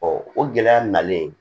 o gɛlɛya nalen